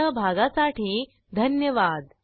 सहभागासाठी धन्यवाद